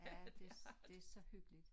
Ja det det så hyggeligt